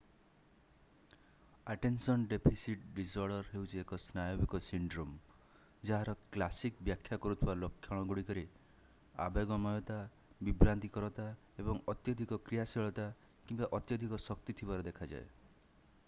attention deficit disorder ହେଉଛି ଏକ ସ୍ନାୟବିକ ସିଣ୍ଡ୍ରୋମ ଯାହାର କ୍ଲାସିକ୍ ବ୍ୟାଖ୍ୟା କରୁଥିବା ଲକ୍ଷଣଗୁଡିକରେ ଆବେଗମୟତା ବିଭ୍ରାନ୍ତିକରତା ଏବଂ ଅତ୍ୟଧିକ କ୍ରିୟାଶୀଳତା କିମ୍ବା ଅତ୍ୟଧିକ ଶକ୍ତି ଥିବାର ଦେଖାଯାଏ